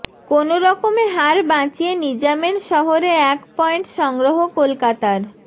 কোনোরকমে হার বাঁচিয়ে নিজামের শহরে এক পয়েন্ট সংগ্রহ কলকাতার